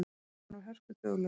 Hann var hörkuduglegur.